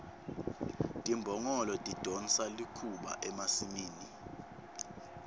timbongolo tidonsa likhuba emasimini